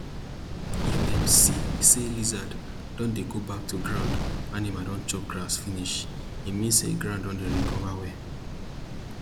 if dem see say lizard don dey go back to ground animal don chop grass finish e mean say ground dey recover well